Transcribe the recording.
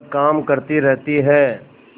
पर काम करती रहती है